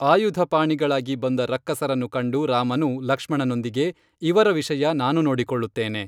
ಆಯುಧಪಾಣಿಗಳಾಗಿ ಬಂದ ರಕ್ಕಸರನ್ನು ಕಂಡು ರಾಮನು ಲಕ್ಷ್ಮಣನೊಂದಿಗೆ ಇವರ ವಿಷಯ ನಾನು ನೋಡಿಕೊಳ್ಳುತ್ತೇನೆ